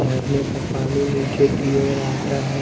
झरने का पानी नीचे की ओर आता हैं।